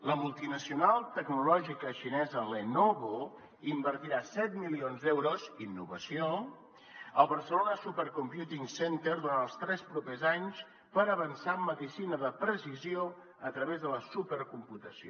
la multinacional tecnològica xinesa lenovo invertirà set milions d’euros innovació al barcelona supercomputing center durant els tres propers anys per avançar en medicina de precisió a través de la supercomputació